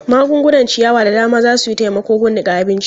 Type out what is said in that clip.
Magungunan ciyawa da dama za su yi taimako gun niƙa abinci.